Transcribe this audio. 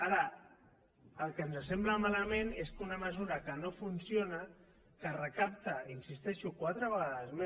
ara el que ens sembla malament és que una mesura que no funciona que recapta hi insisteixo quatre vegades més